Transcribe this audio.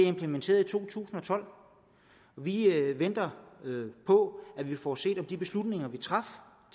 implementeret i to tusind og tolv vi venter på at vi får set på om de beslutninger vi traf